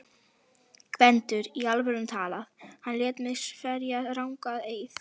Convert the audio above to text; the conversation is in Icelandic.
GVENDUR: Í alvöru talað: hann lét mig sverja rangan eið.